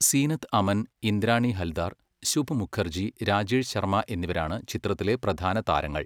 സീനത്ത് അമൻ, ഇന്ദ്രാണി ഹൽദാർ, ശുഭ് മുഖർജി, രാജേഷ് ശർമ്മ എന്നിവരാണ് ചിത്രത്തിലെ പ്രധാന താരങ്ങൾ.